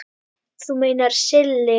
Þú meinar Silli?